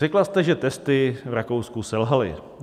Řekla jste, že testy v Rakousku selhaly.